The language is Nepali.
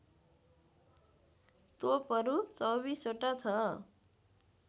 तोपहरू २४ वटा ६